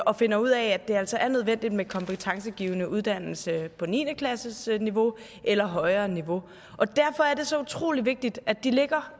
og finder ud af at det altså er nødvendigt med kompetencegivende uddannelse på niende klassesniveau eller højere niveau derfor er det så utrolig vigtigt at de ligger